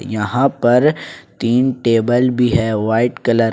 यहां पर तीन टेबल भी है वाइट कलर --